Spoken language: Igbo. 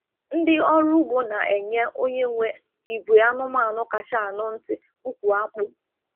Ndị ọrụ ugbo na-enye onye nwe ìgwè anụmaanụ kacha anụ ntị ùkwù akpu.